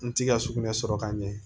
N ti ka sugunɛ sɔrɔ ka ɲɛ